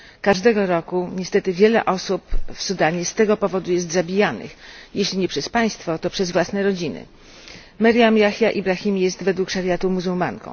Każdego roku, niestety, wiele osób w Sudanie z tego powodu jest zabijanych, jeśli nie przez państwo, to przez własne rodziny. Meriam Yahya Ibrahim jest według szariatu muzułmanką